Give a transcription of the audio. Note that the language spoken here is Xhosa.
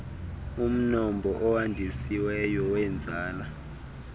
umnombo owandisiweyo weenzala